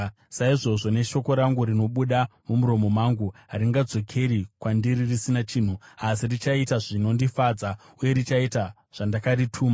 saizvozvo neshoko rangu rinobuda mumuromo mangu: Haringadzokeri kwandiri risina chinhu, asi richaita zvinondifadza, uye richaita zvandakarituma.